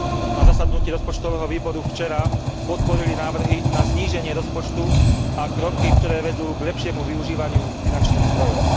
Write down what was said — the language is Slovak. Na zasadnutí rozpočtového výboru včera podporili návrhy na zníženie rozpočtu a kroky, ktoré vedú k lepšiemu využívaniu finančných zdrojov.